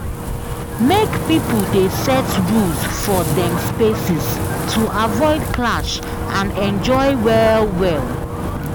Make pipo dey set rules for dem spaces to avoid clash and enjoy well well.